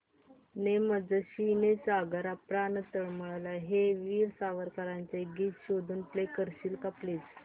ने मजसी ने सागरा प्राण तळमळला हे वीर सावरकरांचे गीत शोधून प्ले करशील का प्लीज